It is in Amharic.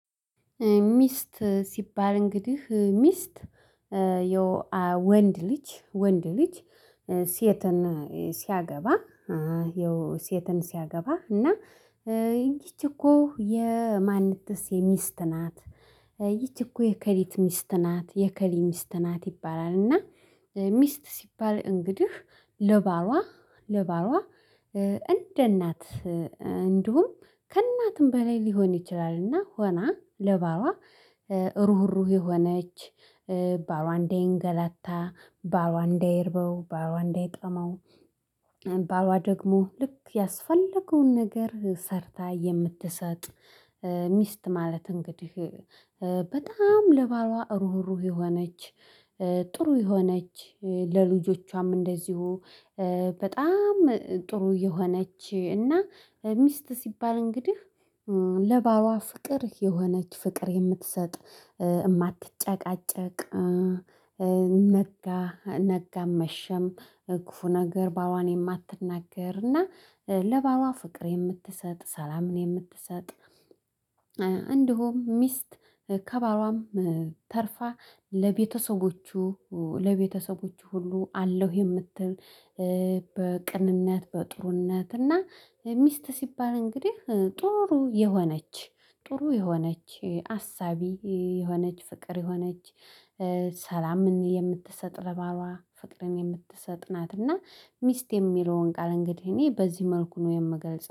ሚስት ሲባል እንግዲህ ሚስት የወንድ ልጅ ወንድ ልጅ ሴትን ሲያገባ ሴትን ሲያገባ እና እቺ እኮ የማንትስ የሚስት ናት ይቺ እኮ የከሊት ሚስት ናት የከሌ ሚስት ናት ይባላል። እና ሚስት ሲባል እንግዲህ ለባሏ ለባሏ እንደ እናት እንዲሁም ከእናትም በላይ ሊሆን ይችላል። እና ሆና ለባሏ ሩህሩህ የሆነች ባሏ እንዳይንገላታ ባሏ እንዳይርበው ባሏ እንዳይጠማው ባሏ ደግሞ ልክ ያስፈለገውን ነገር ሰርታ የምትሰጥ። ሚስት ማለት እንግዲህ በጣም ለባሏ ሩህሩህ የሆነች ጥሩ የሆነች ለልጆቿም እንደዚሁ። በጣም ጥሩ የሆነች እና ሚስት ሲባል እንግዲህ ለባሏ ፍቅር የሆነች ፍቅር የምትሰጥ የማትጨቃጨቅ ነጋ ነጋ መሸም ክፉ ነገር ባሏን የማትናገር እና ለባሏ ፍቅር የምትሰጥ ሰላምን የምትሰጥ። እንዲሁም ሚስት ከባሏም ተርፋ ለቤተሰቦቹ ለቤተሰቦቹ ሁሉ አለው የምትል። በቅንነት በጥሩነት እና ሚስት ሲባል እንግዲህ ጥሩ የሆነች ጥሩ የሆነች አሳቢ የሆነች ፍቅር የሆነች ሰላምን የምትሰጥ ለባሏ ፍቅርን የምትሰጥ ናት። እና ሚስት የሚለውን ቃል እንግዲህ እኔ በዚህ መልኩ ነው የምገልጸው